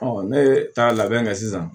ne ye taa labɛn kɛ sisan